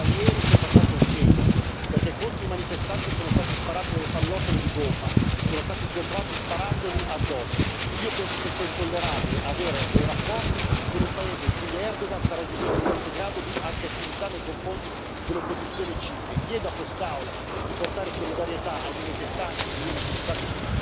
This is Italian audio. Ma ieri si è passato il segno, perché contro i manifestanti sono state sparate delle pallottole di gomma per sgomberare i manifestanti. Io penso che sia intollerabile avere dei rapporti con un paese in cui Erdogan sta raggiungendo questo grado di aggressività nei confronti dell'opposizione civiche chiedo a quest'Aula di esprimere solidarietà ai manifestanti che ieri sono stati